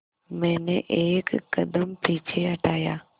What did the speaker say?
मैंने एक कदम पीछे हटाया